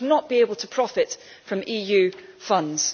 They should not be able to profit from EU funds.